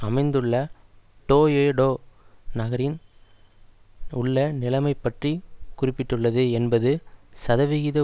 அமைந்துள்ள டோயோடோ நகரின் உள்ள நிலைமை பற்றி குறிப்பிட்டுள்ளது எண்பது சதவிகித